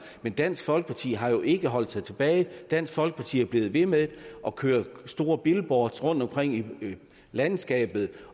men dansk folkeparti har jo ikke holdt sig tilbage dansk folkeparti er blevet ved med at køre store billboards rundtomkring i landskabet